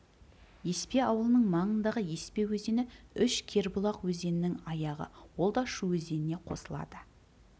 еспе ауылының маңындағы еспе өзені үш кербұлақ өзенінің аяғы ол да шу өзеніне қосылады